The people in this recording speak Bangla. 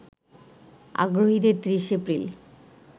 আগ্রহীদের ৩০ এপ্রিল